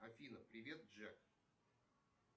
афина привет джек